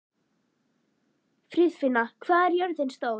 Friðfinna, hvað er jörðin stór?